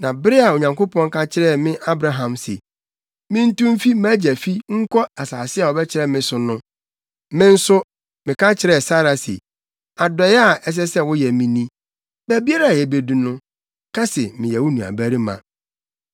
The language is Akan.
Na bere a Onyankopɔn ka kyerɛɛ me Abraham se mintu mfi mʼagya fi nkɔ asase a ɔbɛkyerɛ me so no. Me nso, meka kyerɛɛ Sara se, ‘Adɔe a ɛsɛ sɛ woyɛ me ni: baabiara a yebedu no, ka se meyɛ wo nuabarima.’ ”